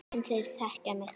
En þeir þekkja mig.